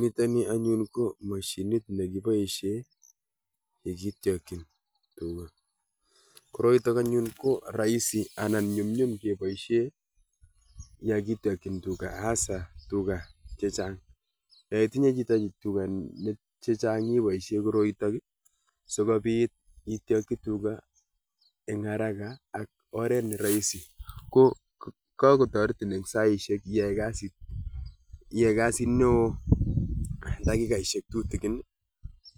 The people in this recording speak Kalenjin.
nitani anun ko machinit nekibaishe ketyakin tugaa , koroitak ko rahisi anan nyumnum kebaiushe ya ketyakin tuguaa asa chechengan, yaitinye chitaa tugaa chechang ibaishe koroitak sogobit ityaki tugugaa eng aragaa ak oreet ne raisi kotariti eng saisehek iyai kasait neo eng dakikasihek che tutgin